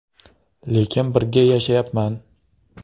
Lekin birga yashayapman.